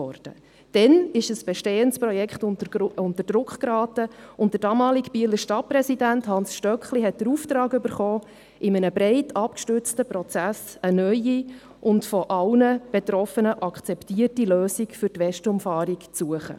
Damals geriet ein bestehendes Projekt unter Druck, und der damalige Bieler Stadtpräsident Hans Stöckli erhielt den Auftrag, in einem breit abgestützten Prozess eine neue und von allen Betroffenen akzeptierte Lösung für die Westumfahrung zu suchen.